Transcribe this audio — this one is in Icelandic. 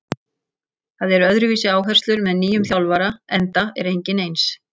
Það eru öðruvísi áherslur með nýjum þjálfara enda er enginn eins.